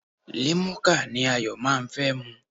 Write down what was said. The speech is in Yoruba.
Limuka ni Ayọ̀ máa ń fẹ́ mu.